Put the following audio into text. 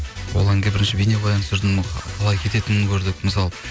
ол әнге бірінші бейнебаян түсірдім қалай кететінін көрдік мысалы